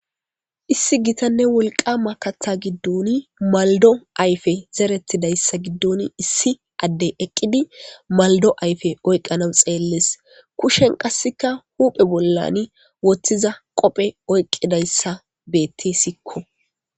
Issi gitanne wolqama katha giddon maldo ayfe zeretidayssa giddon issi adde eqqidi maldo ayfe oyqqana xeelles. Kushen qasseka huphe bollan woththiza qophe oyqqidayssa bettesikko.